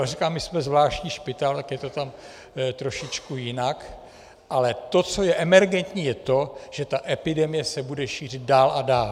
A říkám, my jsme zvláštní špitál, tak je to tam trošičku jinak, ale to, co je emergentní, je to, že ta epidemie se bude šířit dál a dál.